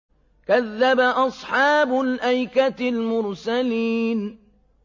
كَذَّبَ أَصْحَابُ الْأَيْكَةِ الْمُرْسَلِينَ